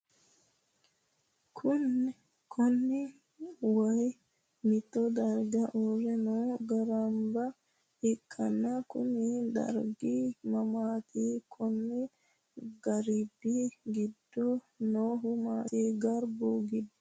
Kunni wayi mitto darga uure noo garba ikanna kunni dargi mamaati? Konni garbi gido noohu maati? Garbu gido noo manni massanni Nooho?